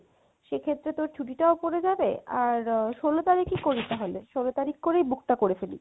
সেক্ষেত্রে তোর ছুটিটাও পরে যাবে আর ষোলো তারিখে করি তাহলে, ষোলো তারিখ করেই book তা করে ফেলি